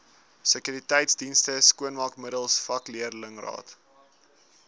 sekuriteitsdienste skoonmaakmiddels vakleerlingraad